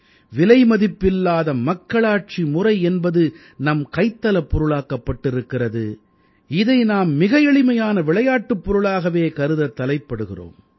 விலைமதிப்பில்லாத மக்களாட்சி முறை என்பது நம் கைத்தலப் பொருளாக்கப்பட்டிருக்கிறது இதை நாம் மிக எளிமையான விளையாட்டுப் பொருளாகவே கருதத் தலைப்படுகிறோம்